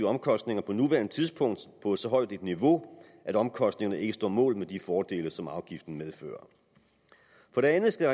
omkostninger på nuværende tidspunkt på et så højt niveau at omkostningerne ikke står mål med de fordele som afgiften medfører for det andet skal